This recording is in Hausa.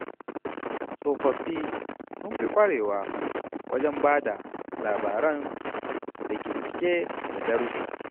Tsofaffi sun fi ƙwarewa wajen bada labaran da ke cike da darussa.